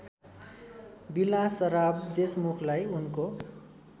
विलासराव देशमुखलाई उनको